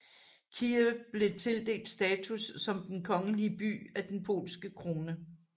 Kyiv blev tildelt status som den kongelige by af den polske krone